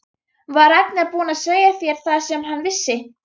Var Ragnar búinn að segja þér það sem hann vissi?